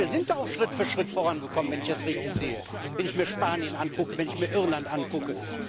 Wir sind da auch Schritt für Schritt vorangekommen, wenn ich das richtig sehe, wenn ich mir Spanien angucke, wenn ich mir Irland angucke.